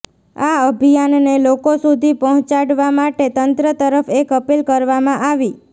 આ અભિયાનને લોકો સુધી પહોચાડવા માટે તંત્ર તરફ એક અપીલ કરવામાં આવી